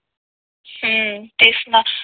हम्म तेच ना